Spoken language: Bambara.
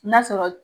N'a sɔrɔ